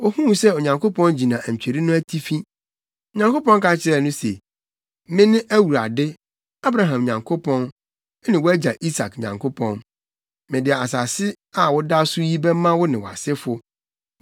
Ohuu sɛ Onyankopɔn gyina antweri no atifi. Onyankopɔn ka kyerɛɛ no se, “Mene Awurade, Abraham Nyankopɔn, ne wʼagya Isak Nyankopɔn. Mede asase a woda so yi bɛma wo ne wʼasefo.